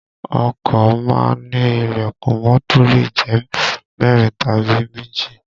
Ọkọ má ń ní ìlẹ̀kùn mọ́tò lè jẹ́ mẹ́rin tàbí méjì